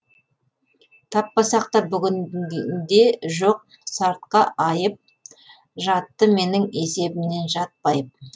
тақпасақ та бүгінде жоқ сартқа айып жатты менің есебімнен жат байып